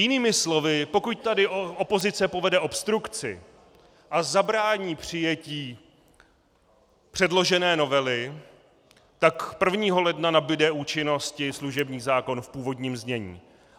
Jinými slovy, pokud tady opozice povede obstrukci a zabrání přijetí předložené novely, tak 1. ledna nabude účinnosti služební zákon v původním znění.